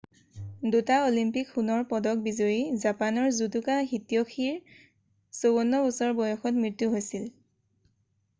2টা অলিম্পিক সোণৰ পদক বিজয়ী জাপানৰ জুদোকা হিত্যশিৰ 54 বছৰ বয়সত মৃত্যু হৈছিল